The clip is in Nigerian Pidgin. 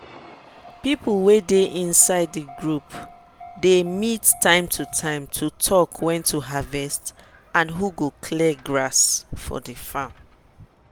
people wey dey inside the group dey meet time to time to talk when to harvest and who go clear grass for farm.